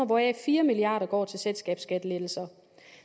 hvoraf fire milliard kroner går til selskabsskattelettelser